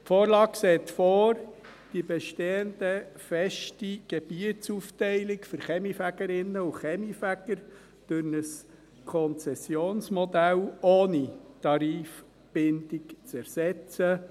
Die Vorlage sieht vor, die bestehende feste Gebietsaufteilung für Kaminfegerinnen und Kaminfeger durch ein Konzessionsmodell ohne Tarifbindung zu ersetzen.